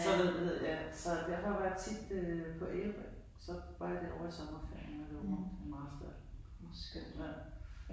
Så hvad er det nu det hedder ja så derfor var jeg tit øh på Ærø så var jeg derovre i sommerferien derovre på Marstal. Skønt land